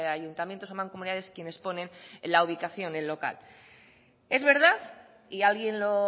ayuntamientos o mancomunidades quienes ponen la ubicación del local es verdad y alguien lo